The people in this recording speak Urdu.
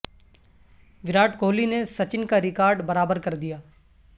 وراٹ کوہلی نے سچن کا ریکارڈ برابر کر دیا